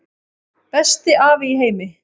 Besti afi í heimi.